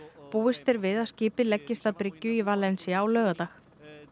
búist er við að skipið leggist að bryggju í á laugardag